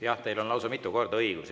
Jah, teil on lausa mitu korda õigus.